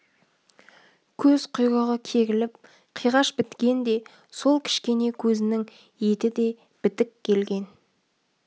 көзқұйрығы керіліп қиғаш біткен де сол кішкене көзінің еті де бітік келген